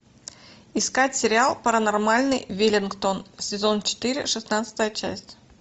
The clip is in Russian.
искать сериал паранормальный веллингтон сезон четыре шестнадцатая часть